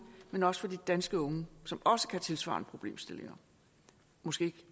men også for de danske unge som også kan have tilsvarende problemstillinger måske